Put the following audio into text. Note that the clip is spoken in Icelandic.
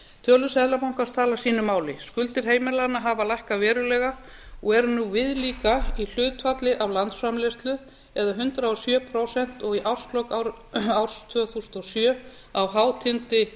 tölur seðlabankans tala sínu máli skuldir heimilanna hafa lækkað verulega og eru nú viðlíka í hlutfalli af landsframleiðslu eða hundrað og sjö prósent og í árslok árs tvö þúsund og sjö á hátindi